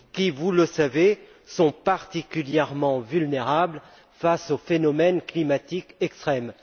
Celles ci, vous le savez, sont particulièrement vulnérables face aux phénomènes climatiques extrêmes.